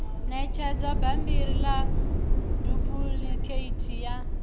ṋetshedza bammbiri ḽa dupuḽikheithi ya